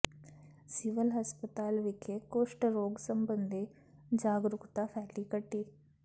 civil ਹਸਪਤਾਲ ਵਿਖੇ ਕੁਸ਼ਟ ਰੋਗ ਸਬੰਧੀ ਜਾਗਰੂਕਤਾ ਰੈਲੀ ਕੱਢੀ